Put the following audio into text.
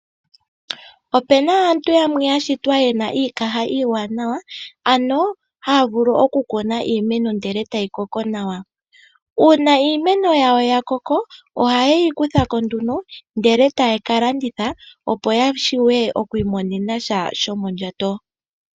Opena aantu yamwe yashitwa yena iikaha iiwanawa ano haya vulu okukuna iimeno ndele tayi koko nawa. Uuna iimeno yawo ya koka ohaye yi kuthako nduno ndele taya kalandithe yashiwe yamone sha shomondjato.